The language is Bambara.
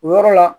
O yɔrɔ la